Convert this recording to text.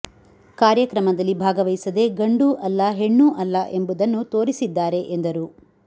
ಕಾರ್ಯಕ್ರಮದಲ್ಲಿ ಭಾಗವಹಿಸದೆ ಗಂಡೂ ಅಲ್ಲ ಹೆಣ್ಣೂ ಅಲ್ಲ ಎಂಬುದನ್ನು ತೋರಿಸಿದ್ದಾರೆ ಎಂದರು